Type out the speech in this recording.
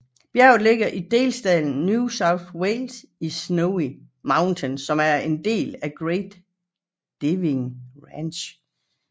Bjerget ligger i delstaten New South Wales i Snowy Mountains som er en del af Great Dividing Range